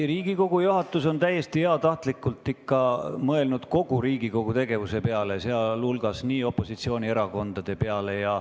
Ei, Riigikogu juhatus on täiesti heatahtlikult mõelnud ikka kogu Riigikogu tegevuse peale, ka opositsioonierakondade peale.